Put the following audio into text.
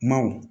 Maw